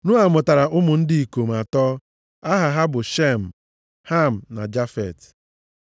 Noa mụtara ụmụ ndị ikom atọ aha ha bụ, Shem, Ham, na Jafet.